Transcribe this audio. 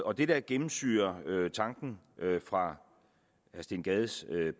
og det der gennemsyrer tanken fra herre steen gades